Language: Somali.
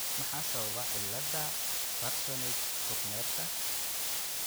Maxaa sababa cilada Parsonage Turnerka?